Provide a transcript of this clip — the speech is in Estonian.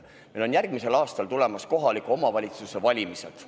Meil on järgmisel aastal tulemas kohaliku omavalitsuse valimised.